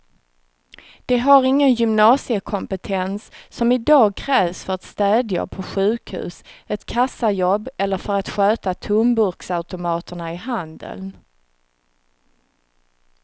De har ingen gymnasiekompetens som i dag krävs för ett städjobb på sjukhus, ett kassajobb eller för att sköta tomburksautomaterna i handeln.